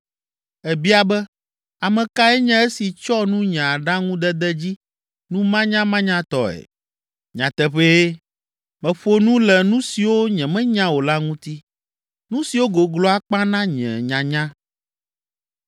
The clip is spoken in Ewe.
Èbia be, ‘Ame kae nye esi tsyɔ nu nye aɖaŋudede dzi numanyamanyatɔe?’ Nyateƒee, meƒo nu le nu siwo nyemenya o la ŋuti, nu siwo goglo akpa na nye nyanya.